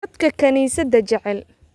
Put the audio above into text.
Dadka kaniisadda jecel